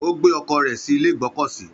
Ó gbé ọkọ̀ rẹ̀ sí ilé ìgbọ́kọ̀sí.